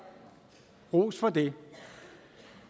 ros for det